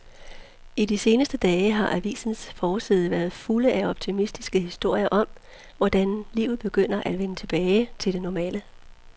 I de seneste dage har avisernes forsider været fulde af optimistiske historier om, hvordan livet begynder at vende tilbage til det normale.